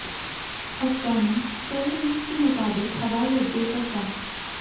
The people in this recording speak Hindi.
अफगानी टोलो न्यूज के मुताबिक हवाई अड्डे पर कम